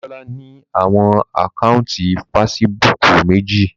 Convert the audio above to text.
Damilola ni awọn ákáuntì Fèsìbúukù meji